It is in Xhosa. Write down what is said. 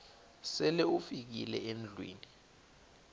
sele ufikile endlwini